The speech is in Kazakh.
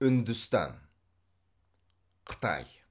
үндістан қытай